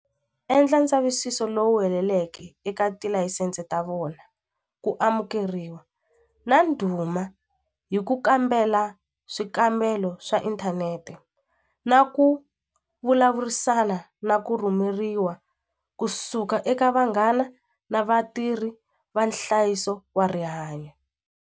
Endla ndzavisiso lowu heleleke eka tilayisense ta vona ku amukeriwa na ndhuma hi ku kambela swikambelo swa inthanete na ku vulavurisana na ku rhumeriwa kusuka eka vanghana na vatirhi va nhlayiso wa rihanyo.